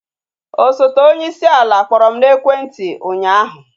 Osote onyeisi ala kpọrọ m n'ekwenti ụnyaahụ